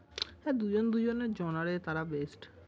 হ্যাঁ দুইজন দুইজনের জনারে তাঁরা best ।